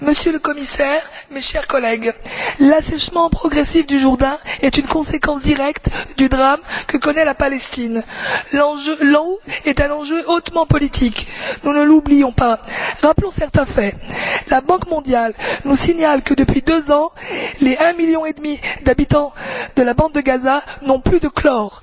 Monsieur le Président, Monsieur le Commissaire, chers collègues, l'assèchement progressif du Jourdain est une conséquence directe du drame que connaît la Palestine. L'eau est un enjeu hautement politique. Nous ne l'oublions pas. Rappelons certains faits la Banque mondiale nous signale que, depuis deux ans, les 1 million et demi d'habitants de la bande de Gaza n'ont plus de chlore,